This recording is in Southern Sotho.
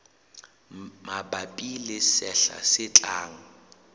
mabapi le sehla se tlang